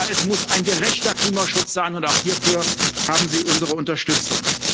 Aber es muss ein gerechter Klimaschutz sein, und auch hierfür haben Sie unsere Unterstützung.